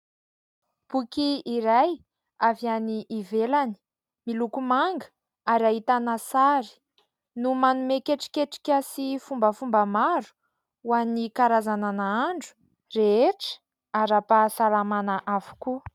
Boky iray avy any ivelany, miloko manga ary ahitana sary no manome ketriketrika sy fombafomba maro ho an'ny karazana nahandro rehetra, ara-pahasalamana avokoa.